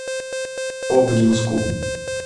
обнинску